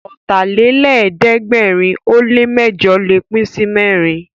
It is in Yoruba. Ọ̀tàlélẹ̀ẹ́dẹ́gbẹ̀rin ó lè mẹ́jọ̀ lè pín sí mẹ́rin